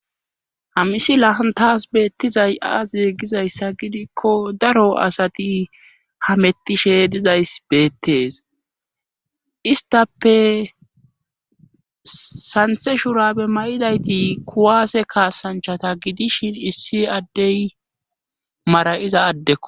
hamisi lahan taas beettizay aaziye gizayssa gidikko daro asati hamettishe dizays beettees istappe santhe shurabe mayidayti kuwaase kaasanchata gidishin issi addey mara7iza addekko